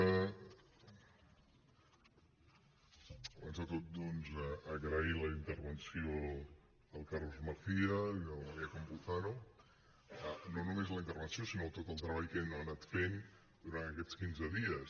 abans de tot doncs agrair la intervenció del carlos macías i de la maria campuzano no només la intervenció sinó tot el treball que han anat fent durant aquests quinze dies